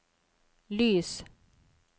lys